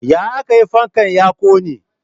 Ya aka yi fankan ya ƙone?